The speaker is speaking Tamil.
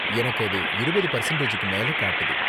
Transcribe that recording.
எனக்கு அது இருபது பெர்சண்டேஜூக்கு மேல காட்டுது